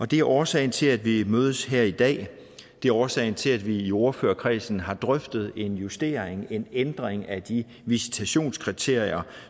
det er årsagen til at vi mødes her i dag det er årsagen til at vi i ordførerkredsen har drøftet en justering en ændring af de visitationskriterier